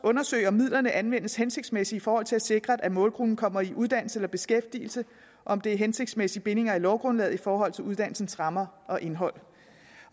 undersøge om midlerne anvendes hensigtsmæssigt i forhold til at sikre at målgruppen kommer i uddannelse eller beskæftigelse og om det er hensigtsmæssige bindinger i lovgrundlaget i forhold til uddannelsens rammer og indhold